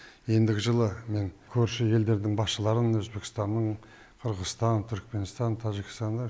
ендігі жылы мен көрші елдердің басшыларын өзбекстанның қырғызстан түркменстан тәжікстанды